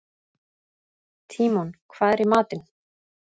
Tímon, hvað er í matinn?